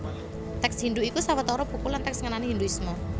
Tèks Hindhu iku sawetara buku lan tèks ngenani Hindhuisme